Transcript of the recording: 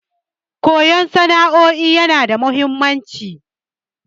Koyan sana'o'in yana da mahimmanci.